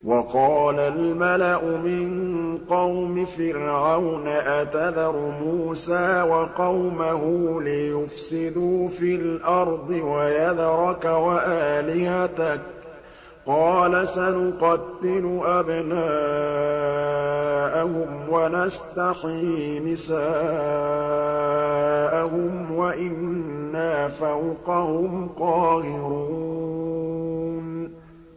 وَقَالَ الْمَلَأُ مِن قَوْمِ فِرْعَوْنَ أَتَذَرُ مُوسَىٰ وَقَوْمَهُ لِيُفْسِدُوا فِي الْأَرْضِ وَيَذَرَكَ وَآلِهَتَكَ ۚ قَالَ سَنُقَتِّلُ أَبْنَاءَهُمْ وَنَسْتَحْيِي نِسَاءَهُمْ وَإِنَّا فَوْقَهُمْ قَاهِرُونَ